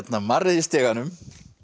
marrið í stiganum